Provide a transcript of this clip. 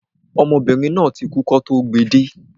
Ọmọdébìnrin náà ti kú kọ́ tó gbe de